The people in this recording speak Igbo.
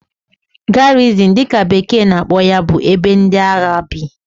Garrison' dị ka bekee na-akpọ ya bụ ebe ndị agha bi